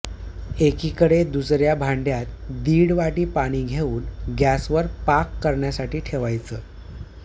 एकीकडं दुसऱया भांडय़ात दीड वाटी पाणी घेऊन गैसवर पाक करण्यासाठी ठेवायचं